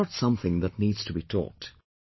This is not something that needs to be taught